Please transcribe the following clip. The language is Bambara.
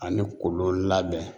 Ani kolon labɛn